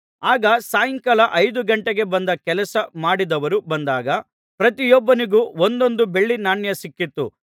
ಆಗ ಸಾಯಂಕಾಲ ಐದು ಗಂಟೆಗೆ ಬಂದು ಕೆಲಸ ಮಾಡಿದವರು ಬಂದಾಗ ಪ್ರತಿಯೊಬ್ಬನಿಗೂ ಒಂದೊಂದು ಬೆಳ್ಳಿ ನಾಣ್ಯ ಸಿಕ್ಕಿತು